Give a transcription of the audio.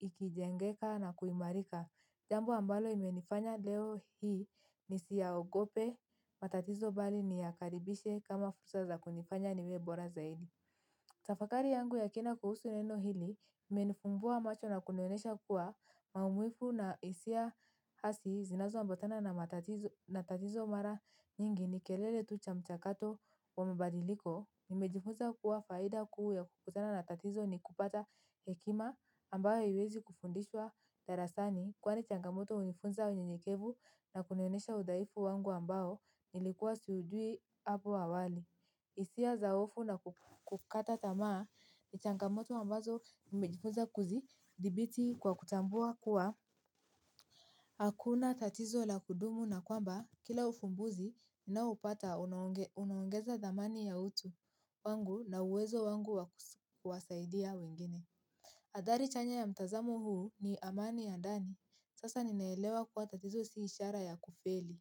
ikijengeka na kuimarika. Jambo ambalo imenifanya leo hii ni siya ogope, matatizo bali ni yakaribishe kama fursa za kunifanya niwe bora za hili. Tafakari yangu ya kina kuhusu neno hili, imenifumbua macho na kunionesha kuwa maumwifu na isi ya hasi zinazo ambotana na matatizo mara nyingi ni kelele tucha mchakato wa mbadiliko. Nimejifunza kuwa faida kuu ya kukutana na tatizo ni kupata hekima ambayo haiwezi kufundishwa darasani. Kwani changamoto hunifunza unyenyekevu na kunionesha udaifu wangu ambao nilikuwa siujui hapo awali. Isia zaofu na kukata tamaa ni changamoto ambazo nimejifunza kuzi dhibiti kwa kutambua kuwa hakuna tatizo la kudumu na kwamba kila ufumbuzi ninaoa upata unaongeza dhamani ya utu wangu na uwezo wangu wa kuwasaidia wengine. Adhari chanya ya mtazamu huu ni amani ya ndani sasa ninaelewa kuwa tatizo siishara ya kufeli.